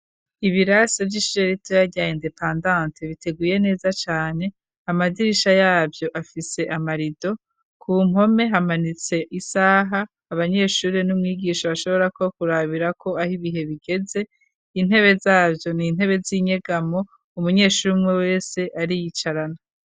Ibirase vy'ishuri rya indepandante biteguye neza cane amadirisha yavyo afise amarido ku mpome hamanitse isaha abanyeshurire n'umwigisha bashobora ko kurabirako aho ibihe bigeze intebe zavyo nintebe z'inyegamo umunyeshuri umwe wese ariyicarana.